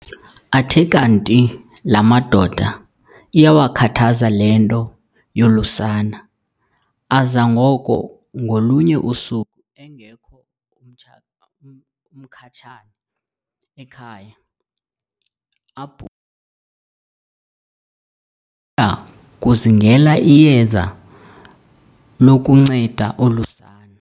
Athe kanti laa madoda iwakhathazile le nto yolu sana, aza ngoko ngolunye usuku engekho uMkhatshane ekhaya abhunga, ya kuzingela iyeza lokunceda olu sana.